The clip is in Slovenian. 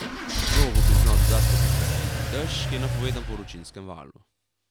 Progo bi znal dodatno popestriti dež, ki je napovedan po vročinskem valu.